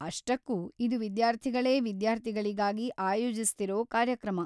ಅಷ್ಟಕ್ಕೂ, ಇದು ವಿದ್ಯಾರ್ಥಿಗಳೇ ವಿದ್ಯಾರ್ಥಿಗಳಿಗಾಗಿ ಆಯೋಜಿಸ್ತಿರೋ ಕಾರ್ಯಕ್ರಮ.